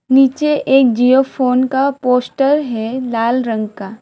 नीचे एक जिओ फोन का पोस्टर है लाल रंग का।